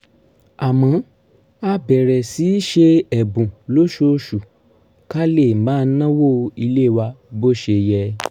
àmọ́ a bẹ̀rẹ̀ sí í ṣe ẹ̀bùn lóṣooṣù ká lè máa náwó ilé wa bó ṣe yẹ